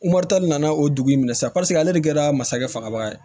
nana o dugu in na sisan paseke ale de kɛra masakɛ fanga ba ye